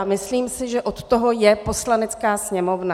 A myslím si, že od toho je Poslanecká sněmovna.